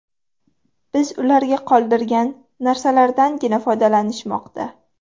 Biz ularga qoldirgan narsalardangina foydalanishmoqda.